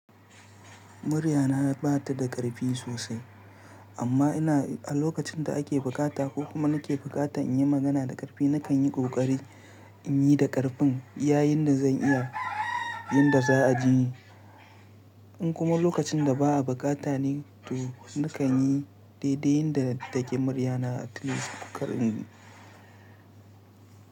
Muryana ba ta da ƙarfi sosai amma a lokacin da ake bukata ko kuma nake bukata in yi magana da ƙarfi nakan yi ƙoƙari in yi da ƙarfin iya yinda zan iya yanda za a ji ni. In kuma lokacin da ba'a bukata ne to nakan yi daidai yanda muryana take.